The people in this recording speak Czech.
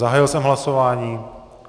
Zahájil jsem hlasování.